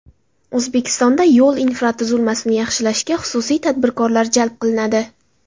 O‘zbekistonda yo‘l infratuzilmasini yaxshilashga xususiy tadbirkorlar jalb qilinadi.